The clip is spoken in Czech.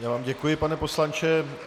Já vám děkuji, pane poslanče.